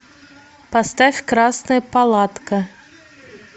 поставь красная палатка